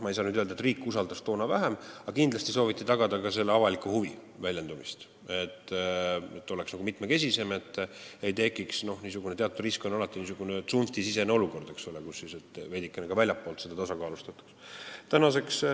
Ma ei saa öelda, et riik usaldas toona vähem, kuid kindlasti sooviti tagada ka avaliku huvi väljendumist, sooviti, et koosseis oleks mitmekesisem ega tekiks niisugune – teatud risk on alati – tsunftisisene olukord, sooviti seda veidike väljastpoolt tasakaalustada.